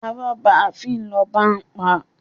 Arọ́ba fín lọba ń pa!